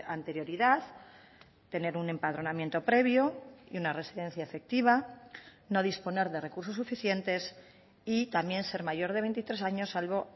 anterioridad tener un empadronamiento previo y una residencia efectiva no disponer de recursos suficientes y también ser mayor de veintitrés años salvo